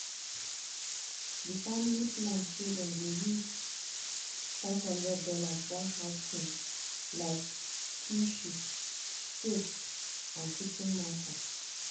di family plan say dem go use five hundred dollars buy house things like tissue soap and kitchen matter.